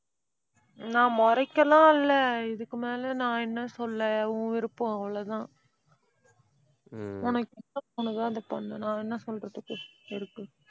நான் முறைக்கெல்லாம் இல்லை. இதுக்கு மேல நான் என்ன சொல்ல? உன் விருப்பம், அவ்வளவுதான் உனக்கு என்ன தோணுதோ அதை பண்ணு நான் என்ன சொல்றதுக்கு இருக்கு